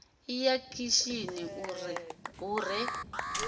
ḓi ya khishini hu re